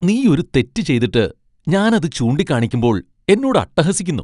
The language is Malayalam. നീ ഒരു തെറ്റ് ചെയ്തിട്ട് , ഞാൻ അത് ചൂണ്ടിക്കാണിക്കുമ്പോൾ എന്നോട് അട്ടഹസിക്കുന്നു .